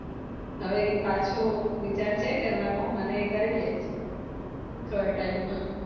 હવે એ પાછો વિચાર છે કરવાનો અને કરી લીઈશું થોડા time મા